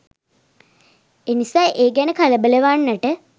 එනිසා ඒ ගැන කලබලවන්නට